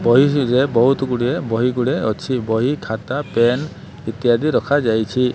ବହି ବହୁତ ଗୁଡିଏ ବହିଗୁଡ଼େ ଅଛି ବହି ଖାତା ପେନ ଇତ୍ୟାଦି ରଖାଯାଇଛି।